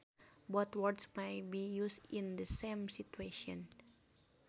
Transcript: Both words may be used in the same situation